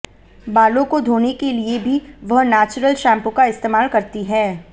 बालों को धोने के लिए भी वह नैचुरल शैंपू का इस्तेमाल करती है